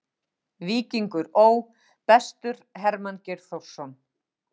Víkingur Ó.: Bestur: Hermann Geir Þórsson.